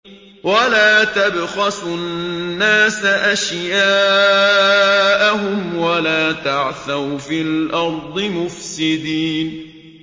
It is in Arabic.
وَلَا تَبْخَسُوا النَّاسَ أَشْيَاءَهُمْ وَلَا تَعْثَوْا فِي الْأَرْضِ مُفْسِدِينَ